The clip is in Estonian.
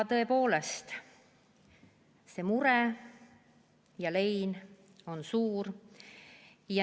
Tõepoolest, see mure ja lein on suur.